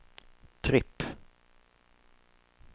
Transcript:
tripp